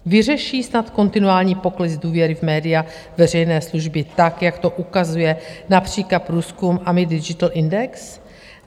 Vyřeší snad kontinuální pokles důvěry v média veřejné služby, tak jak to ukazuje například průzkum AMI Digital Index?